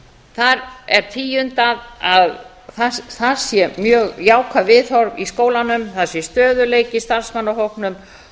þar er tíundað að það séu mjög jákvæð viðhorf í skólanum það sé stöðugleiki í